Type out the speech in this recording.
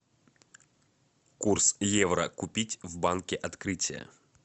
курс евро купить в банке открытие